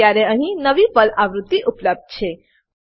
અત્યારે અહીં નવી પર્લ આવૃત્તિ ઉપલબ્ધ છે